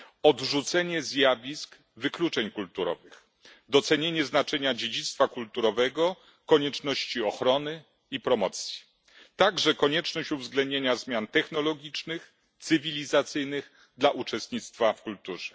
odrzucenie zjawisk wykluczeń kulturowych, docenienie znaczenia dziedzictwa kulturowego, konieczności ochrony i promocji, także konieczność uwzględnienia zmian technologicznych, cywilizacyjnych dla uczestnictwa w kulturze.